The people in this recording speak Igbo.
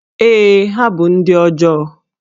Ee, ha bụ ndị ọjọọ